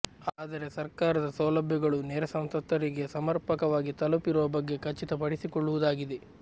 ಆದರೆ ಸರ್ಕಾರದ ಸೌಲಭ್ಯಗಳು ನೆರೆ ಸಂತ್ರಸ್ತರಿಗೆ ಸಮರ್ಪಕವಾಗಿ ತಲುಪಿರುವ ಬಗ್ಗೆ ಖಚಿತ ಪಡಿಸಿಕೊಳ್ಳುವುದಾಗಿದೆ